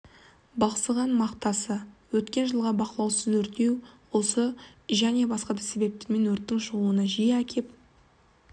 бықсыған мақтасы өткен жылғы бақылаусыз өртеу осы және басқа да себептер өрттің шығуына жиі әкеп